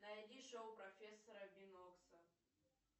найди шоу профессора бинокса